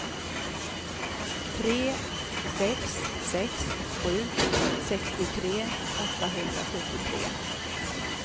tre sex sex sju sextiotre åttahundrasjuttiotre